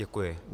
Děkuji.